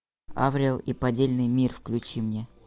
аврил и поддельный мир включи мне